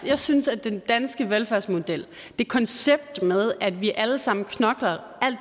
jeg synes at den danske velfærdsmodel det koncept den samfundsmodel med at vi alle sammen knokler alt